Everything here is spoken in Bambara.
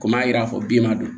Komi a yira fɔ bin ma don